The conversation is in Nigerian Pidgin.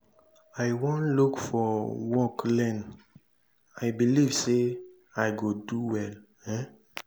i wan look for work learn i believe say i go do well um.